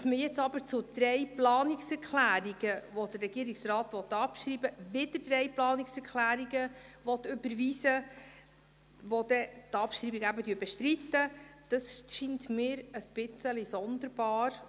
Dass man jetzt zu drei Planungserklärungen, die der Regierungsrat abschreiben will, wieder drei Planungserklärungen überweisen will, welche die Abschreibung bestreiten, scheint mir allerdings etwas sonderbar.